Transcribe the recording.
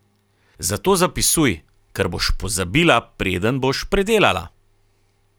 Zato zapisuj, ker boš pozabila, preden boš predelala.